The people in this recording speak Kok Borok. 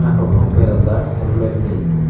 aro no bera jaak halmet ni--